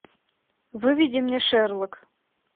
выведи мне шерлок